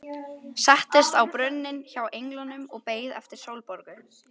Settist á brunninn hjá englinum og beið eftir Sólborgu.